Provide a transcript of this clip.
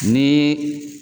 Ni